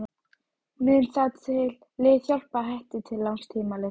Mun það lið hjálpa Hetti til langs tíma litið?